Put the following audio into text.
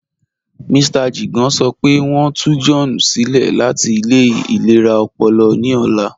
Mr Jigan sọ́ pẹ̀ wọ́n n tù John silẹ̀ láti ilẹ̀ ilẹ̀ra ọ̀pọ̀lọ̀ ní ọ̀lá